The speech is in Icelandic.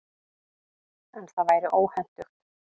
En það væri óhentugt.